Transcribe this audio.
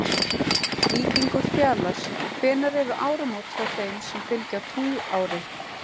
Víkingur Fjalar Hvenær eru áramót hjá þeim sem fylgja tunglári?